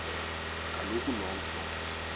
kaloku lo mfo